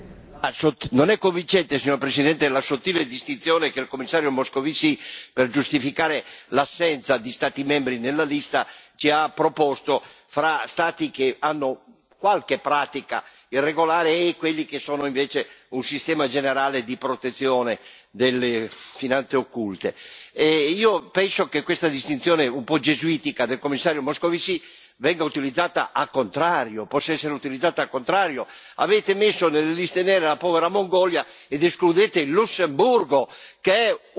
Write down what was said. Signor Presidente, onorevoli colleghi, non è convincente la sottile distinzione che il Commissario Moscovici, per giustificare l'assenza di Stati membri nella lista, ci ha proposto fra Stati che hanno qualche pratica irregolare e quelli che sono invece un sistema generale di protezione delle finanze occulte. Io penso che questa distinzione un po' gesuitica del Commissario Moscovici venga utilizzata al contrario, possa essere utilizzata al contrario avete messo nelle liste nere la povera Mongolia ed escludete il Lussemburgo, che è